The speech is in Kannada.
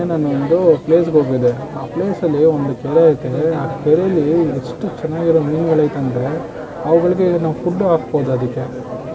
ನಾನೊಂದು ಪ್ಲೇಸ್ ಹೋಗಿದ್ದೆ ಆ ಪ್ಲೇಸ್ ಅಲ್ಲಿ ಒಂದು ಕೆರೆ ಇದೆ ಆ ಕೆರೆಯಲ್ಲಿ ಎಷ್ಟು ಚೆನ್ನಾಗಿರೋ ಮೀನುಗಳು ಇದೆ ಅಂದ್ರೆ ಅವುಗಳಿಗೆ ನಾವ್ ಫುಡ್ ಹಾಕ್ಬೋದು ಅದಕ್ಕೆ.